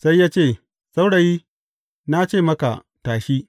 Sai ya ce, Saurayi, na ce maka, tashi!